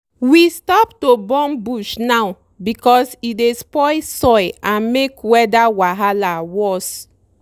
we stop to burn bush now because e dey spoil soil and make weather wahala worse.